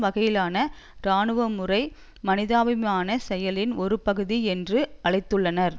வகையிலான இராணுவமுறை மனிதாபிமானச் செயலின் ஒரு பகுதி என்று அழைத்துள்ளனர்